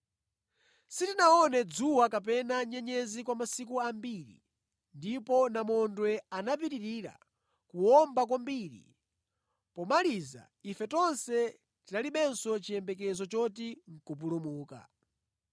Sitinaone dzuwa kapena nyenyezi kwa masiku ambiri ndipo namondwe anapitirira kuwomba kwambiri, pomaliza ife tonse tinalibenso chiyembekezo choti nʼkupulumuka.